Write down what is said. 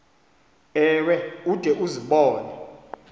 ewe ude uzibone